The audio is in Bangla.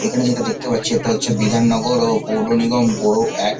এখানে যেটা দেখতে পাচ্ছি এটা হচ্ছে বিধাননগর ও পৌরনিগম বোরো এক।